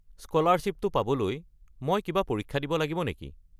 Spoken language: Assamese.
স্ক’লাৰশ্বিপটো পাবলৈ মই কিবা পৰীক্ষা দিব লাগিব নেকি?